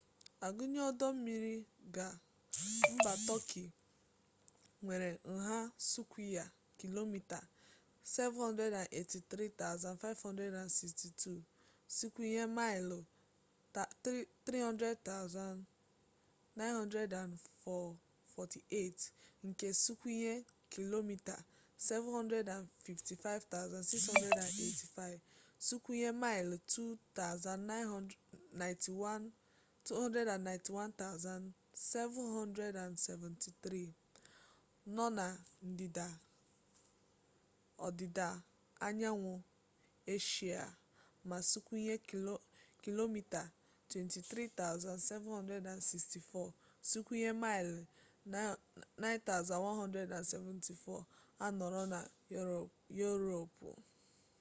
a gụnye ọdọ mmiri ga mba tọki nwere nha sụkwịya kilomita 783,562 sụkwịya maịlụ 300,948 nke sụkwịya kilomita 755,688 sụkwịya maịlụ 291,773 nọ na ndịda ọdịda anyanwụ eshia ma sụkwịya kilomita 23,764 sụkwịya maịlụ 9174 anọrọ na yuropu